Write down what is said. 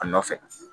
A nɔfɛ